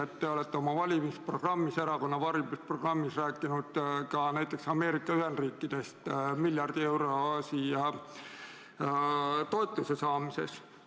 Te olete oma erakonna valimisprogrammis rääkinud ka näiteks Ameerika Ühendriikidest miljardi euro suuruse toetuse saamisest.